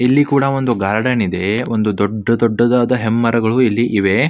ಇಲ್ಲಿ ಕೂಡ ಒಂದು ಗಾರ್ಡನ್ ಇದೆ ಒಂದು ದೊಡ್ಡ ದೊಡ್ಡದಾದ ಹೆಮ್ಮರಗಳು ಇಲ್ಲಿ ಇವೆ.